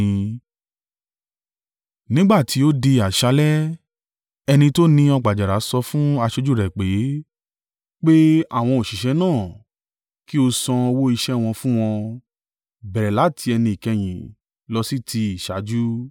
“Nígbà tí ó di àṣálẹ́, ẹni tó ni ọgbà àjàrà sọ fún aṣojú rẹ̀ pé, ‘Pe àwọn òṣìṣẹ́ náà, kí ó san owó iṣẹ́ wọn fún wọn, bẹ̀rẹ̀ láti ẹni ìkẹyìn lọ sí ti ìṣáájú.’